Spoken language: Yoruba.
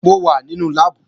Mo wà nínú láàbù